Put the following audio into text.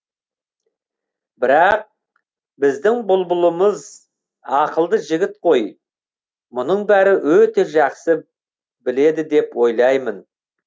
бірақ біздің бұлбұлымыз ақылды жігіт қой мұның бәрін өте жақсы біледі деп ойлаймын